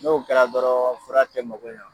N'o kɛra dɔrɔn fura tɛ mago ɲa.